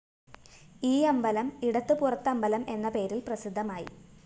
ഈ അമ്പലം ഇടത്ത് പുറത്തമ്പലം എന്ന പേരില്‍ പ്രസിദ്ധമായി